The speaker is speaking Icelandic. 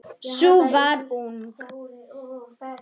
Sú var ung!